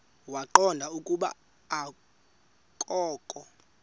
waqonda ukuba akokho